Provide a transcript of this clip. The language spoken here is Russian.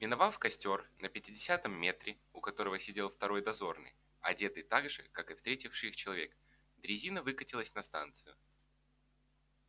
миновав костёр на пятидесятом метре у которого сидел второй дозорный одетый так же как и встретивший их человек дрезина выкатилась на станцию